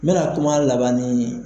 N bɛna kuma laban nin.